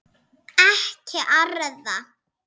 Ekki arða.